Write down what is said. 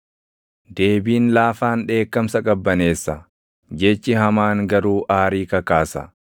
Deebiin laafaan dheekkamsa qabbaneessa; jechi hamaan garuu aarii kakaasa.